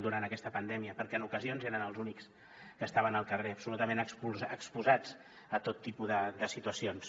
durant aquesta pandèmia perquè en ocasions eren els únics que estaven al carrer absolutament exposats a tot tipus de situacions